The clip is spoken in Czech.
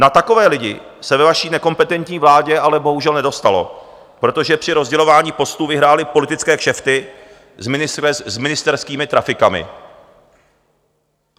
Na takové lidi se ve vaší nekompetentní vládě ale bohužel nedostalo, protože při rozdělování postů vyhrály politické kšefty s ministerskými trafikami.